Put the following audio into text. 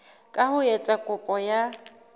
ka ho etsa kopo ya